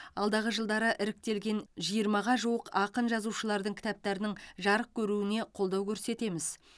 алдағы жылдары іріктелген жиырмаға жуық ақын жазушылардың кітаптарының жарық көруіне қолдау көрсетеміз